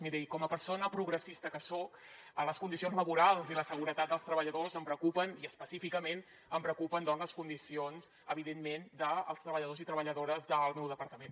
miri com a persona progressista que soc les condicions laborals i la seguretat dels treballadors em preocupen i específicament em preocupen doncs les condicions evidentment dels treballadors i treballadores del meu departament